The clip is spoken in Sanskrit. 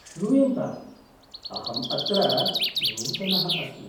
श्रूयन्ताम्, अहम् अत्र नूतनः अस्मि।